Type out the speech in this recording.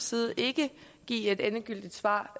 side ikke give et endegyldigt svar